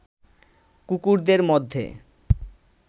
কুকুরদের মধ্যে